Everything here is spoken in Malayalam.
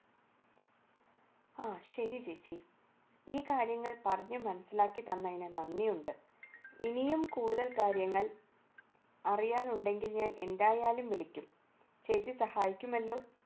ആ ശരി ചേച്ചി ഈ കാര്യങ്ങൾ പറഞ്ഞു മനസ്സിലാക്കി തന്നതിന് നന്ദിയുണ്ട് ഇനിയും കൂടുതൽ കാര്യങ്ങൾ അറിയാനുണ്ടെങ്കിൽ ഞാൻ എന്തായാലും വിളിക്കും ചേച്ചി സഹായിക്കുമല്ലോ